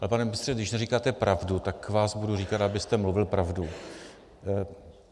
Ale pane ministře, když neříkáte pravdu, tak vám budu říkat, abyste mluvil pravdu.